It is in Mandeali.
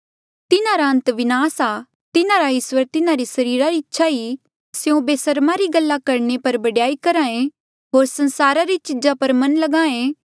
तिन्हारा अंत विनास आ तिन्हारा इस्वर तिन्हारी सरीरा री इच्छा ई स्यों बेसर्म री गल्ला करणे पर बडयाई करहा ऐें होर संसारा री चीजा पर मन ल्गाहें